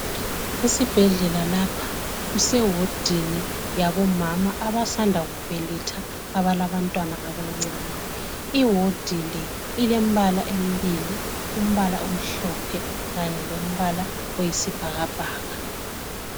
Esibhedlela lapha kusewodini yabomama abasanda kubeletha, abalabantwana abancane. Iwodi le ilembala embili, umbala omhlophe kanye lombala oyisibhakabhaka.